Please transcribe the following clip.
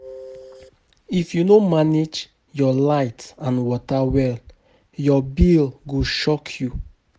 If you no manage your light and water well, your bill go shock you.